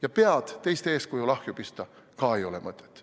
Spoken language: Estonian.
Ja pead teiste eeskujul ahju pista ka ei ole mõtet.